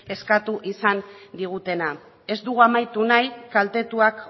eskatu izan digutena ez dugu amaitu nahi kaltetuak